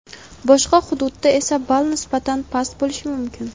boshqa hududda esa ball nisbatan past bo‘lishi mumkin.